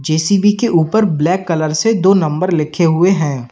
JCB के ऊपर black colour से दो नंबर लिखे हुए है।